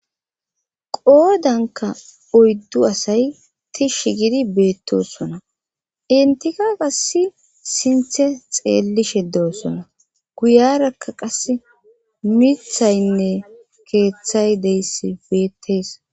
Qoodanka oyddu asay tishsh gidi beettosona intika qass sinthe xeellishe doosona guyarakka qas mithaynne keeththay deyss beettes.